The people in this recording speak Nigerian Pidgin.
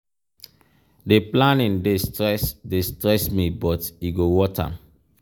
di planning dey stress dey stress me but e go worth am.